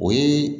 O ye